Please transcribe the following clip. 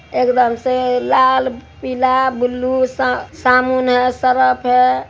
एकदम से लाल पीला ब्लू सा- सामुन है सरफ है ।